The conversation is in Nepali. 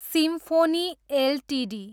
symphony Ltd